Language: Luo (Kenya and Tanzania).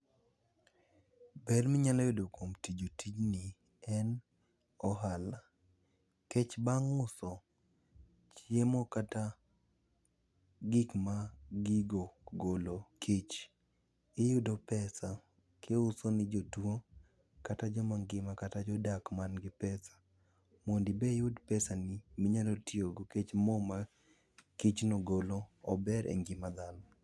Ber minyalo kuom imo tijni en ohala nikech bang' uso chiemo kata gikma gigo golo, kich, iyudo pesa[c] kiuso ne jotuo kata joma ngima kata jodak man gi pesa mondo ibe iyu pesani miyalo tiyogo nikech moo ma kich no golo ober e ngima dhano